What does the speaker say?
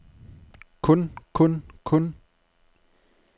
kun kun kun